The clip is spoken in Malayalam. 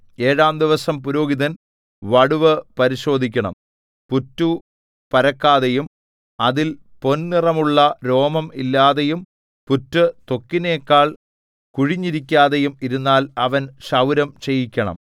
ഏഴാം ദിവസം പുരോഹിതൻ വടുവ് പരിശോധിക്കണം പുറ്റു പരക്കാതെയും അതിൽ പൊൻനിറമുള്ള രോമം ഇല്ലാതെയും പുറ്റ് ത്വക്കിനെക്കാൾ കുഴിഞ്ഞിരിക്കാതെയും ഇരുന്നാൽ അവൻ ക്ഷൗരം ചെയ്യിക്കണം